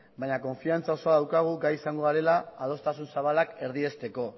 baina konfidantza osoa daukagu gai izango garela adostasun zabalak erdiesteko